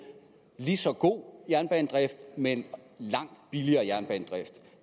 lige så god jernbanedrift men langt billigere jernbanedrift